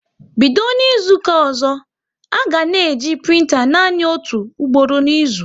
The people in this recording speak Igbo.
Bido N'izuka ọzọ, a ga na-eji printa nanị otu ugboro n'izu!